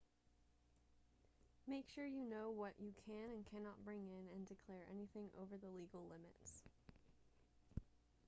make sure you know what you can and cannot bring in and declare anything over the legal limits